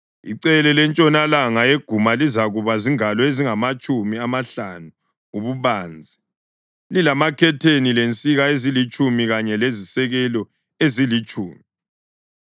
Icele lentshonalanga yeguma lizakuba zingalo ezingamatshumi amahlanu ububanzi, lilamakhetheni, lensika ezilitshumi kanye lezisekelo ezilitshumi.